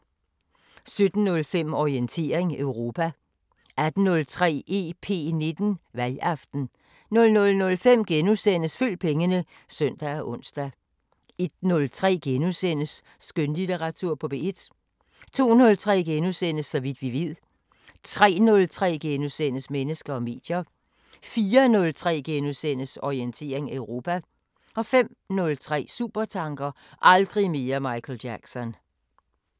17:05: Orientering Europa 18:03: EP19: Valgaften 00:05: Følg pengene *(søn og ons) 01:03: Skønlitteratur på P1 * 02:03: Så vidt vi ved * 03:03: Mennesker og medier * 04:03: Orientering Europa * 05:03: Supertanker: Aldrig mere Michael Jackson